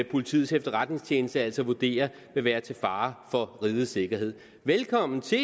politiets efterretningstjeneste altså vurderer vil være til fare for rigets sikkerhed velkommen til